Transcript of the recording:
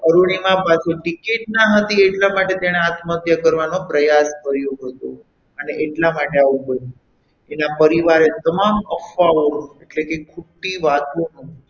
અરુણિમા પાશે ટીકીટ ન હતી એટલા માટે તેને આત્મહત્યા કરવાનો પ્રયાસ કર્યો હતો અને એટલા માટે આવું બન્યું એના પરિવારે તમામ અફવાઓ એટલે કે ખોટી વાતોનો,